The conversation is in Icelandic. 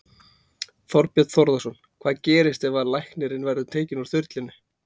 Þorbjörn Þórðarson: Hvað gerist ef að læknirinn verður tekinn úr þyrlunni?